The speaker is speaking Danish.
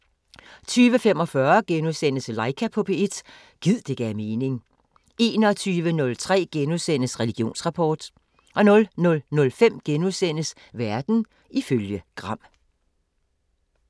20:45: Laika på P1 – gid det gav mening * 21:03: Religionsrapport * 00:05: Verden ifølge Gram *